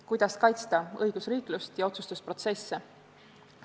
Kuidas kaitsta õigusriiklust ja otsustusprotsesse?